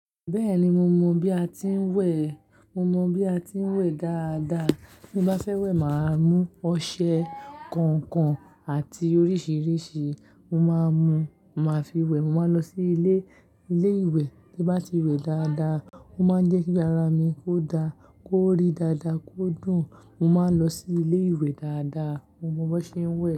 Bẹ́ẹ̀ni mo mọ̀ bí a ti ń wẹ̀, mo mọ̀ bí a ti ń wẹ̀ dáadáa. Bí mo bá fẹ́ wẹ̀, màá mú ọṣẹ kọ̀ọ̀kan àti oríṣìíríṣìí. Mo máa mú, mo máa fi wẹ̀. Mo máa lọ sí ilé, ilé ìwẹ̀ tí ó bá ti wẹ̀ dáadáa. Ó máa ń jẹ́ kí ara mi kó dá, kó rí dáadáa, kó dùn. Mo máa ń lọ sí ilé ìwẹ̀ dáadáa. Mo mọ bí wọ́n ṣe ń wẹ̀.